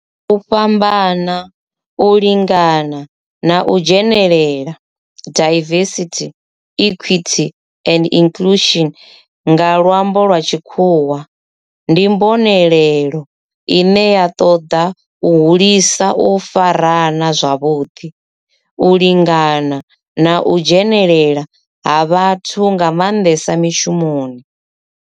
U fhambana, u lingana na u dzhenelela, diversity, equity and inclusion nga lwambo lwa tshikhuwa, ndi mbonelelo ine ya toda u hulisa u farana zwavhudi, u lingana na u dzhenelela ha vhathu nga mandesa mishumoni.